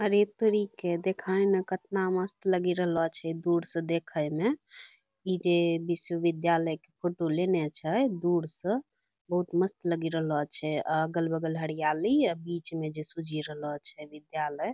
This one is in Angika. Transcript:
अरे तोरीके देखैं ना कतना मस्त लगि रहलो छै दूर से देखै में ई जे विश्वविद्यालय कअ फोटो लेने छै दूर सँ बहुत मस्त लगि रहलो छै आ अगल-बगल हड़ियाली अअ बीचमे जे सुझि रहलो छै विद्यालय।